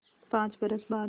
पाँच बरस बाद